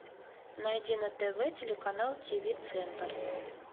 найди на тв телеканал ти ви центр